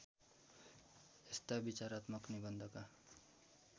यस्ता विचारात्मक निबन्धका